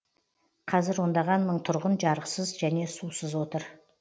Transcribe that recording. қазір ондаған мың тұрғын жарықсыз және сусыз отыр